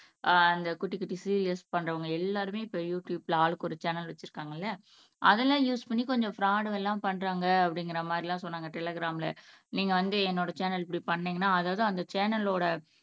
ஆஹ் அந்த குட்டி குட்டி சீரியல்ஸ் பண்றவங்க எல்லாருமே இப்ப யுடுயூப்ல ஆளுக்கொரு சேனல் வச்சிருக்காங்கல்ல அதெல்லாம் யூஸ் பண்ணி கொஞ்சம் ப்ராடு பண்றாங்க அப்படிங்கற மாரியெல்லாம் சொன்னாங்க டெலிகிராம்ல நீங்க வந்து என்னோட சேனல் இப்படி பண்ணீங்கன்னா அதாவது அந்த சேனலோட